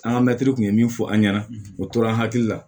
An ka mɛtiri kun ye min fɔ an ɲɛna o tora an hakili la